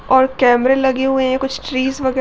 और कैमरे लगे हुए है कुछ ट्रीज वगे --